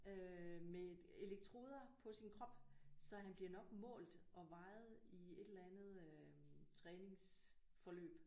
Øh med elektroder på sin krop så han bliver nok mål og vejet i et eller andet øh træningsforløb